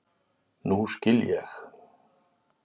Nú skil ég.